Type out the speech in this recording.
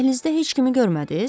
Dəhlizdə heç kimi görmədiniz?